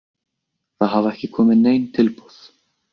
Það hafa ekki komið nein tilboð.